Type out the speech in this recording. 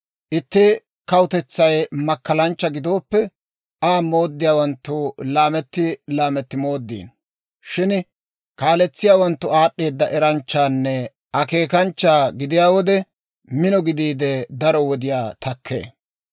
Itti kawutetsay makkalanchcha gidooppe, Aa mooddiyaawanttu laametti laametti mooddino. Shin kaaletsiyaawanttu aad'd'eeda eranchchaanne akeekanchcha gidiyaa wode, mino gidiide, daro wodiyaa takkee.